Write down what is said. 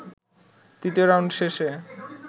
তৃতীয় রাউন্ড শেষে